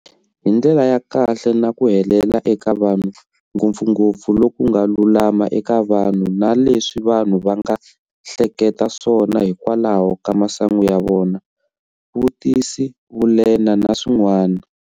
Hi ndlela ya kahle na ku helela eka vanhu, ngopfungopfu lokunga lulama eka vanhu na leswi vanhu vanga hleketa swona hi kwalaho ka masangu ya vona.vutisi, vulema na swin'wana